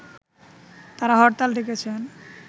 তারা হরতাল ডেকেছেন